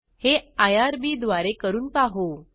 हे आयआरबी द्वारे करून पाहू